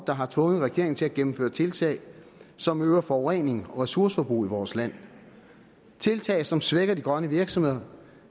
der har tvunget regeringen til at gennemføre tiltag som øger forureningen og ressourceforbruget i vores land tiltag som svækker de grønne virksomheder